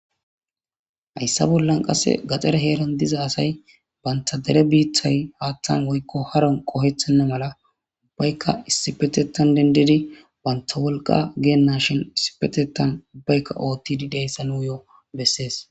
Hayssa bollan qase gaxxare heeran diza asay banta dere biitay haththan woyko haron qohettena mala ubbaykka issipetethan denddidi banta wolqqa genashin issipetethan oththishe de'iyayssa nus bessidi de'ees.